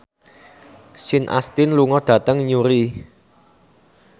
Sean Astin lunga dhateng Newry